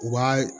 U b'a